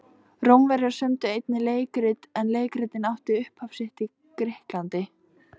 Rómverjar sömdu einnig leikrit en leikritun átti upphaf sitt í Grikklandi.